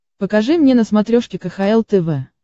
покажи мне на смотрешке кхл тв